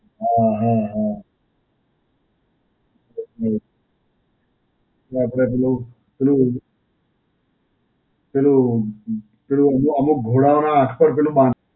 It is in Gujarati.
હાં હાં હાં. right. અને આપડે પેલું પેલું, પેલું પેલું અમુક ઘોડાઓ નાં હાથ પર પેલું બાંધ